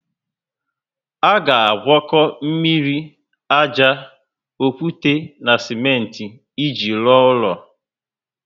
A ga agwako mmiri, ájá, okwute na simenti iji rụọ ulo